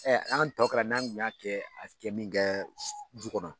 Ɛ an tɔ kɛra n'a tun y'a kɛ a kɛ min kɛ du kɔnɔ